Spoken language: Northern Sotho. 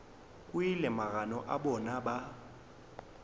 kwele magano a bona ba